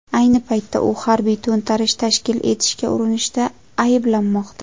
Ayni paytda u harbiy to‘ntarish tashkil etishga urinishda ayblanmoqda.